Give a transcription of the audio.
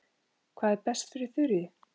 Þeir hlýddu, sem betur fer